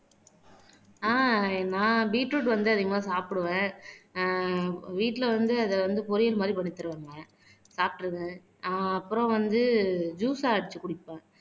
ஆஹ் நான் பீட்ரூட் வந்து அதிகமா சாப்பிடுவேன் ஆஹ் வீட்டுல வந்து அத வந்து பொரியல் மாதிரி பண்ணி தருவாங்க சாப்பிட்டுருவேன் ஆஹ் அப்புறம் வந்து ஜூஸ்ஸா அரைச்சு குடிப்போம்